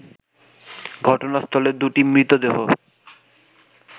ঘটনাস্থলে দুটি মৃতদেহ